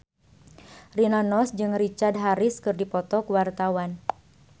Rina Nose jeung Richard Harris keur dipoto ku wartawan